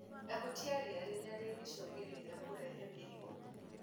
Ehutia ria riria rĩngĩcũngĩrĩria kũrehe mĩrimũ.